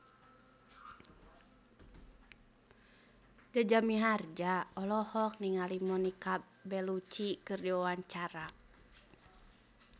Jaja Mihardja olohok ningali Monica Belluci keur diwawancara